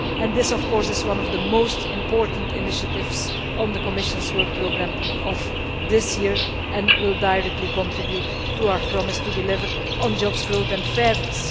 This is, of course, one of the most important initiatives on the Commission's work programme of this year and will directly contribute to our promise to deliver on jobs, growth and fairness.